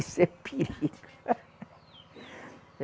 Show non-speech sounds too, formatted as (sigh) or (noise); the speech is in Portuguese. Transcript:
Isso é perigo. (laughs)